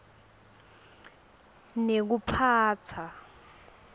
nekuphatsa